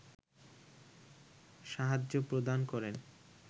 সাহায্য প্রদান করেন